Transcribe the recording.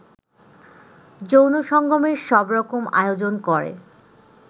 যৌন সঙ্গমের সবরকম আয়োজন করে